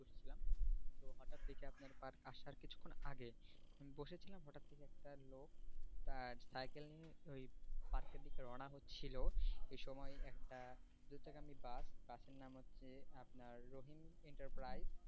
আপনার park আসার কিছুক্ষন আছে আমি বসেছিলাম হঠাৎ দেখি একটা লোক তার cycle নিয়ে ওই park এর দিকে রওনা হচ্ছিলো এই সময়ে একটা দূর থেকে একটা bus bus এর নাম হচ্ছে আপনার রহিম enterprise